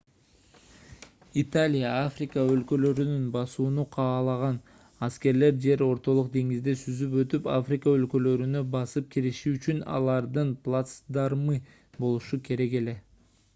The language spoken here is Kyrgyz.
италия африка өлкөлөрүн басууну каалаган аскерлер жер ортолук деңизди сүзүп өтүп африка өлкөлөрүнө басып кириши үчүн алардын плацдармы болушу керек эле